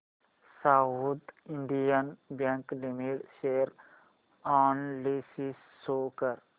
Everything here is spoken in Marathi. south Indian bank limited share analysis show कर